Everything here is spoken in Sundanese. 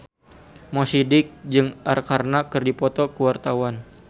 Mo Sidik jeung Arkarna keur dipoto ku wartawan